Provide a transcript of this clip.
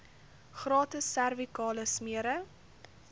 gratis servikale smere